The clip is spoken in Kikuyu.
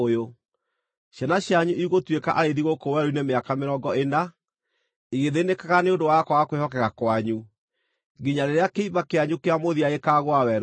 Ciana cianyu igũtuĩka arĩithi gũkũ werũ-inĩ mĩaka mĩrongo ĩna, igĩthĩnĩkaga nĩ ũndũ wa kwaga kwĩhokeka kwanyu, nginya rĩrĩa kĩimba kĩanyu kĩa mũthia gĩkaagũa werũ-inĩ.